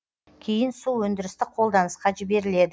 кейін су өндірістік қолданысқа жіберіледі